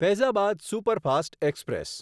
Faizabad superfast express